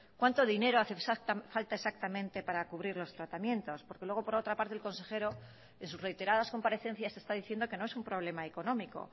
cuánto dinero hace falta exactamente para cubrir los tratamientos porque luego por otra parte el consejero en sus reiteradas comparecencias está diciendo que no es un problema económico